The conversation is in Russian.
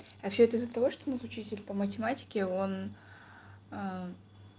а всё это из-за того что нас учитель по математике он